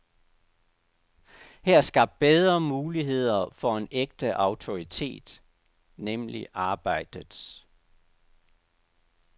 Her er skabt bedre muligheder for en ægte autoritet, nemlig arbejdets.